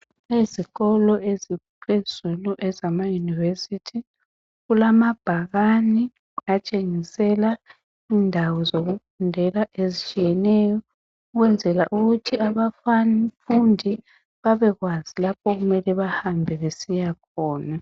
Ezikolo eziphezulu ezamayunivesithi kulamabhakane atshengisela indawo zokufundela ezitshiyeneyo ukwenzela ukuthi abafundi babekwazi lapho okumele bahambe besiya khona.